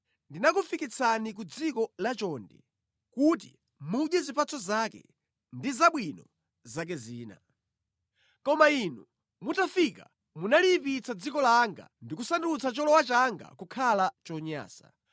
Ndinakufikitsani ku dziko lachonde kuti mudye zipatso zake ndi zabwino zake zina. Koma inu mutafika munaliyipitsa dziko langa ndi kusandutsa cholowa changa kukhala chonyansa.